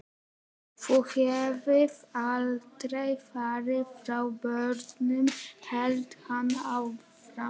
Þú hefðir aldrei farið frá börnunum, hélt hann áfram.